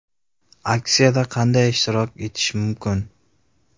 AKSIYADA QANDAY ISHTIROK ETISH MUMKIN?